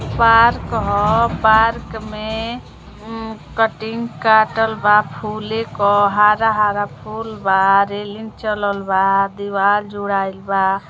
Park ह park में अ कटिन काटल बा फुले क हरा-हरा फूल बा रेलिंग चलल बा दिवार जुड़ाइल बा।